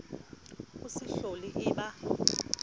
e se hlole e ba